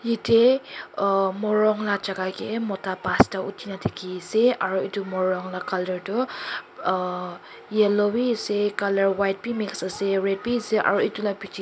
yatae uah morung la jaka kae mota pasta uthina dikhiase aru edu morung la colour tu uah yellow biase colour white bi mix ase red biase aru edu la bichae--